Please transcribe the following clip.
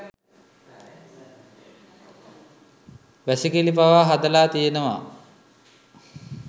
වැසිකිළි පවා හදලා තියෙනවා